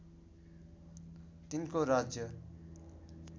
तिनको राज्य